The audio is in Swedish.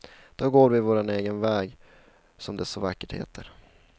Då går vi vår egen väg, som det så vackert heter.